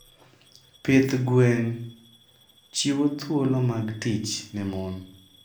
Pith gwen chiwo thuolo mag tich ne mon.